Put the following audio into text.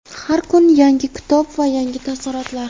Har kun yangi kitob va yangi taassurotlar.